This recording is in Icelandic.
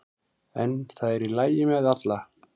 En það er í lagi með alla